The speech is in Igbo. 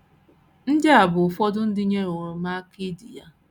Ndị a bụ ụfọdụ ndị nyewooro m aka idi ya: